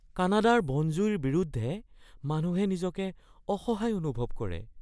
কানাডাৰ বন জুইৰ বিৰুদ্ধে মানুহে নিজকে অসহায় অনুভৱ কৰে।